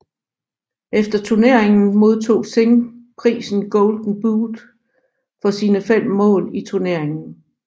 Efter turneringen modtog Singh prisen Golden Boot for sine fem mål i turneringen